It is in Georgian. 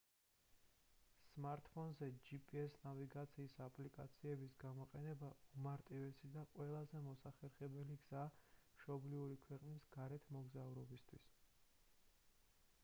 სმარტფონზე gps ნავიგაციის აპლიკაციების გამოყენება უმარტივესი და ყველაზე მოხერხებული გზაა მშობლიური ქვეყნის გარეთ მოგზაურობისთვის